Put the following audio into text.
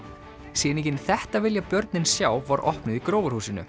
sýningin þetta vilja börnin sjá var opnuð í